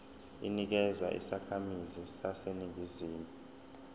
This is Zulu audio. inikezwa izakhamizi zaseningizimu